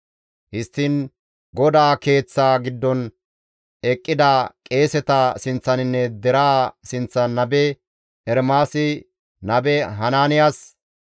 Histtiin GODAA Keeththaa giddon eqqida qeeseta sinththaninne deraa sinththan nabe Ermaasi nabe Hanaaniyas,